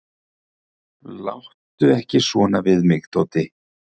"""Láttu ekki svona við mig, Tóti."""